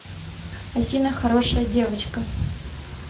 афина хорошая девочка